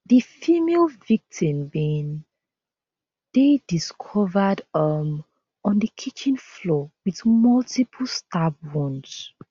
di female victim bin dey discovered um on di kitchen floor with multiple stab wounds